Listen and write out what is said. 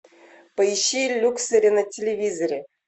поищи люксери на телевизоре